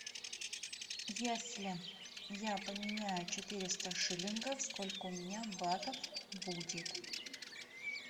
если я поменяю четыреста шиллингов сколько у меня батов будет